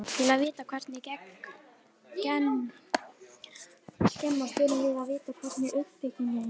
Til að vita hvernig gen skemmast þurfum að við að skilja uppbyggingu þeirra.